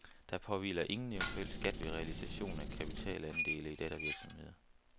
Der påhviler ingen eventuel skat ved realisation af kapitalandele i dattervirksomheder.